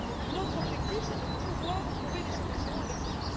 Donc notre objectif, c'est de pouvoir trouver des solutions avec ces...